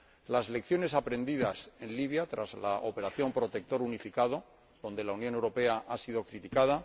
las lecciones aprendidas en Libia, tras la Operación Protector Unificado, donde la Unión Europea ha sido criticada